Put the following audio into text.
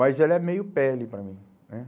Mas ela é meio pele para mim, né?